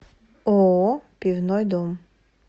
ооо пивной дом